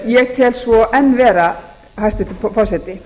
ég tel svo enn vera hæstvirtur forseti